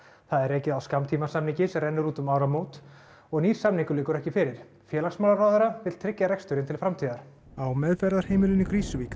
það er rekið á skammtímasamningi sem rennur út um áramót og nýr samningur liggur ekki fyrir félagsmálaráðherra vill tryggja reksturinn til framtíðar á meðferðarheimilinu í Krýsuvík